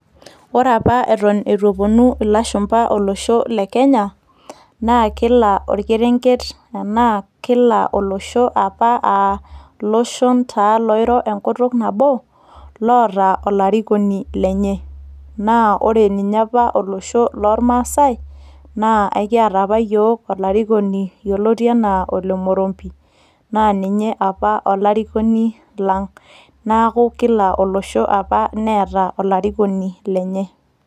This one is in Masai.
Ore apa eton eitu eponu ilashumpa olosho le Kenya, na kila orkerenket enaa kila olosho apa ah iloshon taa loiro enkutuk nabo, loota olarikoni lenye. Na ore ninye apa olosho lormasai, naa ekiata apa yiok olarikoni yioloti enaa Ole Murumbi. Naa ninye apa olarikoni lang'. Neeku kila olosho apa neeta olarikoni lenye.